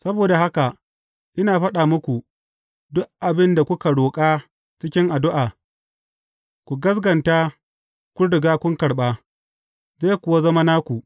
Saboda haka, ina faɗa muku, duk abin da kuka roƙa cikin addu’a, ku gaskata kun riga kun karɓa, zai kuwa zama naku.